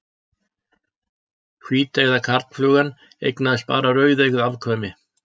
Hvíteygða karlflugan eignaðist bara rauðeygð afkvæmi.